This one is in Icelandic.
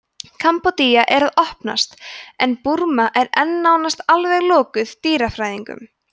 kambódía er að opnast en burma er enn nánast alveg lokuð dýrafræðingum